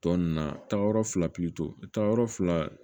Tɔ ninnu na taayɔrɔ fila pilito fila